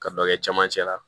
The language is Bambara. Ka dɔ kɛ camancɛ la